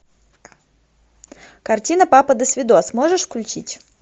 картина папа досвидос можешь включить